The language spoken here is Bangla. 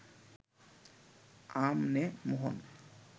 আম নে, মোহন